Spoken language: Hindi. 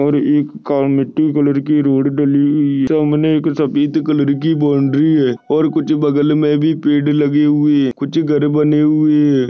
और एक कामीटि कलर की रोड डली हुई सामने एक सफ़ेद कलर की बाउंड्री है और कुछ बगल मे भी पेड़ लगे हुए है कुछ घर बने हुए है।